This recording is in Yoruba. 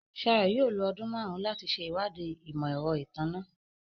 Shayo yóò lo ọdun márùn láti ṣe ìwádìí imọ-ẹrọ ìtanná